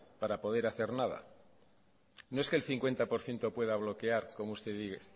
para poder hacer nada no es que el cincuenta por ciento pueda bloquear como usted dice